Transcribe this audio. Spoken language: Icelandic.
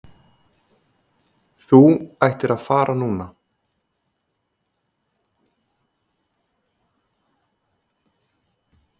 Þú ættir að fara núna.